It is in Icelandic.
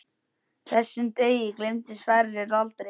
Þessum degi gleymdi Sverrir aldrei.